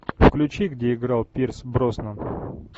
включи где играл пирс броснан